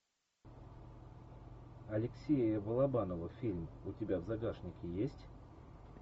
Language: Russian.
алексея балабанова фильм у тебя в загашнике есть